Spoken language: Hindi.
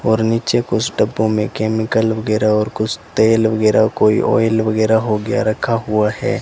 और नीचे कुछ डब्बो में केमिकल वगैरह और कुछ तेल वगैरह कोई ऑयल वगैरह हो गया रखा हुआ है।